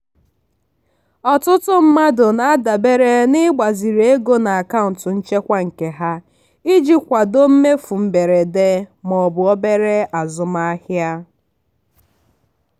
ọtụtụ mmadụ na-adabere n'ịgbaziri ego n'akaụntụ nchekwa nke ha iji kwado mmefu mberede ma ọ bụ obere azụmahịa.